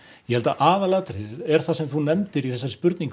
ég held að aðalatriðið sem þú nefndir í þessari spurningu